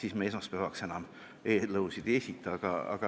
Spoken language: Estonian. Aga me esmaspäevaks enam eelnõusid ei esita.